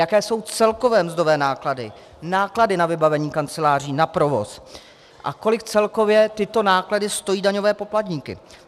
Jaké jsou celkové mzdové náklady, náklady na vybavení kanceláří, na provoz a kolik celkově tyto náklady stojí daňové poplatníky?